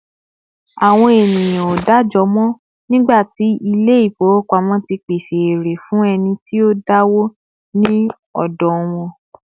àwọn ènìyàn o da'jọ mọ, nigba ti ilé ifowópamọ́ ti pèsè eré fún ẹni tí o dawo ní òdò wan